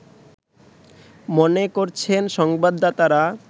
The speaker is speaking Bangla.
মনে করছেন সংবাদদাতারা